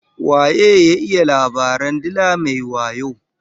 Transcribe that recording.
Waye ya iya labaran dila mai wayo?